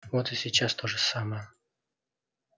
вот и сейчас то же самое